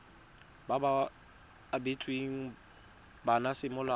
ba ba abetsweng bana semolao